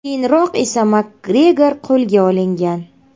Keyinroq esa Makgregor qo‘lga olingan.